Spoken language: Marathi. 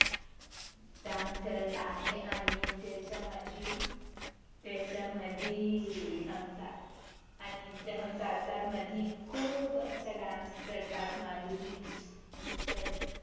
Dance करत आहे आणि त्याच्यामंधी त्याच्यामधी हम साथ आणि हम साथ साथ मध्ये खूप आच्छा Dance करतात माधुरी दीक्षित